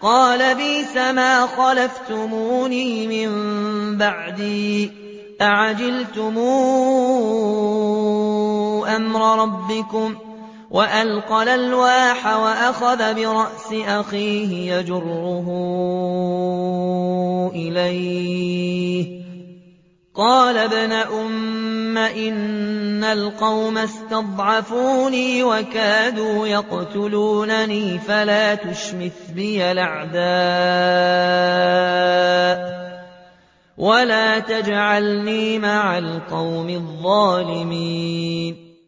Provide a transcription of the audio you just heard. قَالَ بِئْسَمَا خَلَفْتُمُونِي مِن بَعْدِي ۖ أَعَجِلْتُمْ أَمْرَ رَبِّكُمْ ۖ وَأَلْقَى الْأَلْوَاحَ وَأَخَذَ بِرَأْسِ أَخِيهِ يَجُرُّهُ إِلَيْهِ ۚ قَالَ ابْنَ أُمَّ إِنَّ الْقَوْمَ اسْتَضْعَفُونِي وَكَادُوا يَقْتُلُونَنِي فَلَا تُشْمِتْ بِيَ الْأَعْدَاءَ وَلَا تَجْعَلْنِي مَعَ الْقَوْمِ الظَّالِمِينَ